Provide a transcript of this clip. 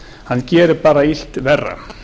hann gerir bara illt verra